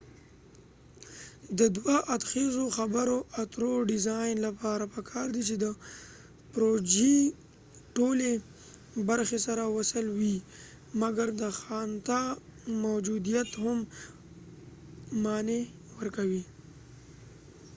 د دوه ادخیزو خبرو اترو ډیزاین لپاره پکار دي چې د پروژی ټولی برخی سره وصل وي مګر د ځانته موجوديت یې هم معنی ورکوي